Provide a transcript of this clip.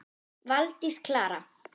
Valdís Klara.